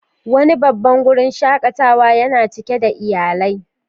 Wani babban wurin shakatawa yana cike da iyalai.